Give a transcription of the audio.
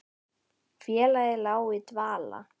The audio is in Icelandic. Félagið lá í dvala